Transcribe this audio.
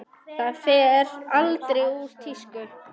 Það fer aldrei úr tísku.